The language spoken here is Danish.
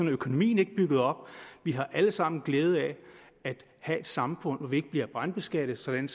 økonomien ikke bygget op vi har alle sammen glæde af at have et samfund hvor vi ikke bliver brandskattet sådan